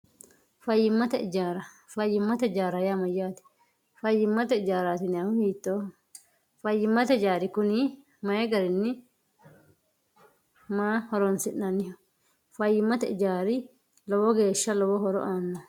Fayyimate ijaara, fayyimate ijaara yaa mayate, fayyimate ijaarati yinanihu hiittoho, fayyimate mayi garinni loonsoniho, maa horonsi'nanniho, fayyimate ijaari lowo geeshsha lowo horo aanoho.